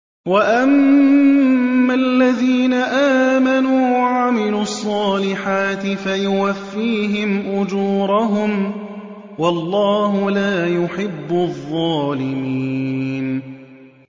وَأَمَّا الَّذِينَ آمَنُوا وَعَمِلُوا الصَّالِحَاتِ فَيُوَفِّيهِمْ أُجُورَهُمْ ۗ وَاللَّهُ لَا يُحِبُّ الظَّالِمِينَ